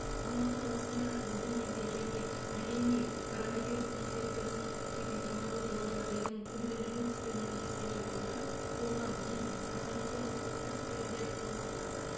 алматы қаласында біздің елде және әлемде коронавирус инфекциясының эпидемиологиялық жағдайдың күрделене түскенін ескере отырып қоғам бизнес атамекен ұлттық кәсіпкерлер палатасы